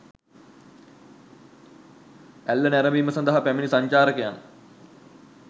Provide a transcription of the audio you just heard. ඇල්ල නැරඹීම සඳහා පැමිණි සංචාරකයන්